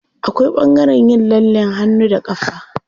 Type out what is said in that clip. Akwai ɓangaren yin lallen hannu da ƙafa.